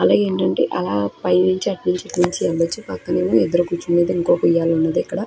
అలాగే ఏంటంటే అలా పైనుంచి అటు నుంచి ఇటు నుంచి వెళ్లచ్చు పక్కనెమో ఎదురుగకుచునేది ఇంకో ఉయ్యలయితే ఉన్నది ఇక్కడ.